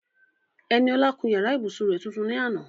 Eniola kun yàrá ìbùsùn rẹ̀ tuntun ní àná.